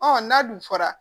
Ɔn n'a dun fɔra